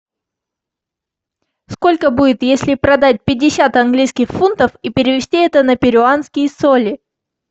сколько будет если продать пятьдесят английских фунтов и перевести это на перуанские соли